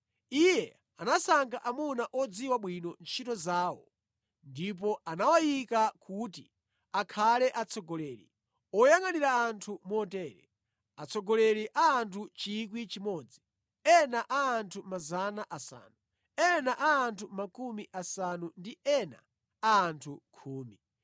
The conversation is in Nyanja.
Iye anasankha amuna odziwa bwino ntchito zawo ndipo anawayika kuti akhale atsogoleri, oyangʼanira anthu motere: atsogoleri a anthu 1,000, ena a anthu 500, ena a anthu makumi asanu ndi ena a anthu khumi.